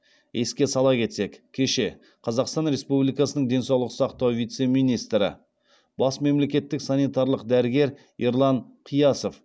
еске сала кетсек кеше қазақстан республикасының денсаулық сақтау вице министірі бас мемлекеттік санитарлық дәрігер ерлан қиясов